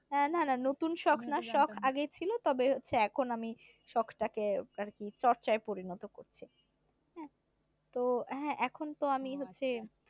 না না নতুন শখ না শখ আগেই ছিলো তবে হচ্ছে এখন আমি শখ টা কে আরকি চর্চায় পরিণত করছি হ্যা তো হ্যা এখন তো আমি হচ্ছে